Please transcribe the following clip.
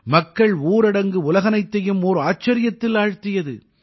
மக்கள் ஊரடங்கு உலகனைத்தையும் ஓர் ஆச்சரியத்தில் ஆழ்த்தியது